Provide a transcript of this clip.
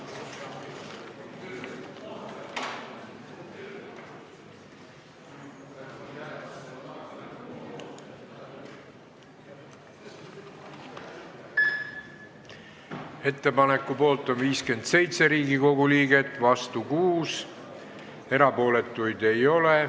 Hääletustulemused Ettepaneku poolt on 57 Riigikogu liiget ja vastu 6, erapooletuid ei ole.